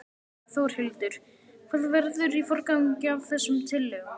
Þórhildur: Hvað verður í forgangi af þessum tillögum?